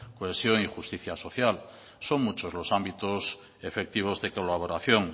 cohesión y justicia social son muchos los ámbitos efectivos de colaboración